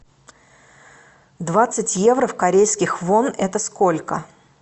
двадцать евро в корейских вонах это сколько